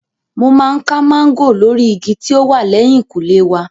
Mo máa ń ká máńgò lórí igi tí ó wà lẹ́hìnkùlé wa.